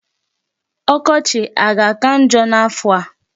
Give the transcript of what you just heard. Ọkọchị a ga-aka njọ n'afọ a?